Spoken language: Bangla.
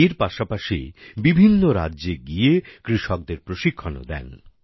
এর পাশাপাশি বিভিন্ন রাজ্যে গিয়ে কৃষকদের প্রশিক্ষণও দেন